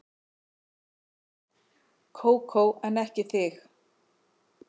Kókó en ekki þig.